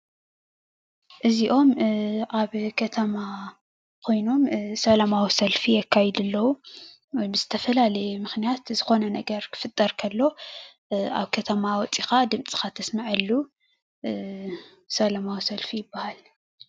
እዚኦም ኣብ ከተማ ኮይኖም ሰላማዊ ሰልፊ የካይዱ ኣለው፡፡ ብዝተፈላለዩ ምክንያት ዝኮነ ነገር ክፍጠር ከሎ ኣብ ከተማ ወፂኢካ ድምፅካ ተስመዐሉ ሰላማዊ ሰልፊ ይበሃል።